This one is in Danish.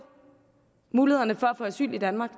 mulighederne for at få asyl i danmark